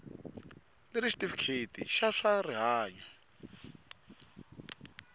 leri xitifiketi xa swa rihanyu